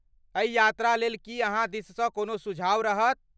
एहि यात्रा लेल की अहाँ दिससँ कोनो सुझाव रहत?